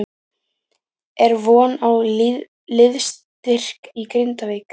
Er von á liðsstyrk í Grindavík?